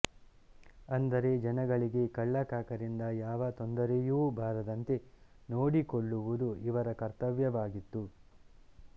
ಅಂದರೆ ಜನಗಳಿಗೆ ಕಳ್ಳಕಾಕರಿಂದ ಯಾವ ತೊಂದರೆಯೂ ಬರದಂತೆ ನೋಡಿಕೊಳ್ಳುವುದು ಇವರ ಕರ್ತವ್ಯವಾಗಿತ್ತು